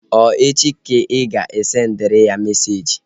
Ọ echi ka ị ga-asendịrị ya meseji?